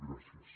gràcies